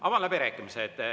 Avan läbirääkimised.